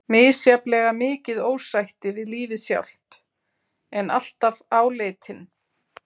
Misjafnlega mikið ósætti við lífið sjálft, en alltaf áleitinn.